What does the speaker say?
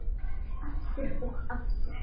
Aftur og aftur.